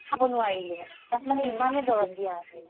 খাব নোৱাৰিলো মানে তাত মানে ইমানে দৰপ দিয়া আছিলে